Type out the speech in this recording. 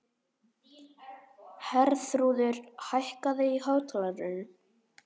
Herþrúður, hækkaðu í hátalaranum.